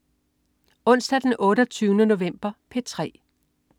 Onsdag den 28. november - P3: